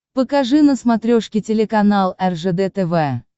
покажи на смотрешке телеканал ржд тв